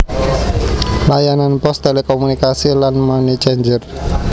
Layanan pos telekomunikasi lan money changer